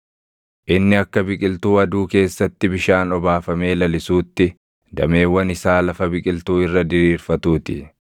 Inni akka biqiltuu aduu keessatti bishaan obaafamee lalisuutti, dameewwan isaa lafa biqiltuu irra diriirfatuu ti.